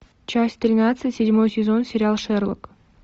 часть тринадцать седьмой сезон сериал шерлок